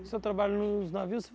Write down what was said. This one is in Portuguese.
Você trabalhou nos navios?